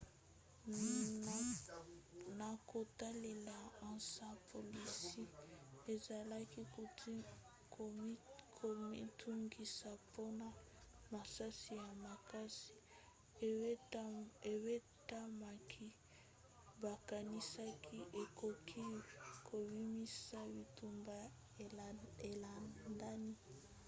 na kotalela ansa polisi ezalaki komitungisa mpona masasi ya makasi ebetamaki bakanisaki ekoki kobimisa bitumba elandani